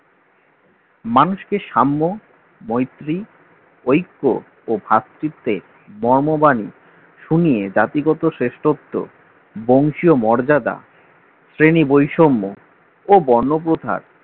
মানুষকে সাম্য মৈত্রী ঐক্য ও ভাব চিত্রের মর্মবাণী শুনিয়ে জাতিগত শ্রেষ্ঠত্ব বংশীয় মর্যাদা শ্রেণী বৈষম্য ও বন্যপ্রথার